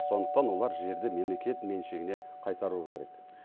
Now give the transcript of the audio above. сондықтан олар жерді мемлекет меншігіне қайтаруы керек